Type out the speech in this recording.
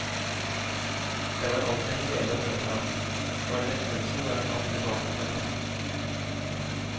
Det var alltid en glede å møte ham, og en lettelse når han kom tilbake fra tokt.